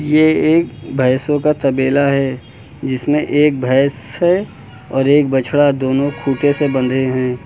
ये एक भैंसों का तबेला है जिसमें एक भैंस है और एक बछड़ा दोनों खूंटे से बंधे हैं।